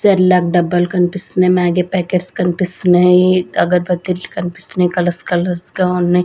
Sherlock డబ్బాలు కన్పిస్తున్నయి Maggi packets కన్పిస్తున్నాయి అగర్భత్తిలు కన్పిస్తున్నయి కలర్స్ కలర్స్ గా ఉన్నయ్.